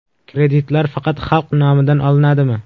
Kreditlar faqat xalq nomidan olinadimi?